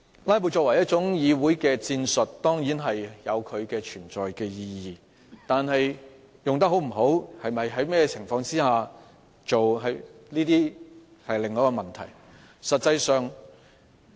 "拉布"在議會內作為一種戰術，當然有其存在的意義，但使用是否得宜，或在甚麼情況下使用，則是另一個問題。